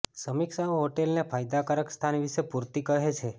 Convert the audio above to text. સમીક્ષાઓ હોટેલના ફાયદાકારક સ્થાન વિશે પૂરતી કહે છે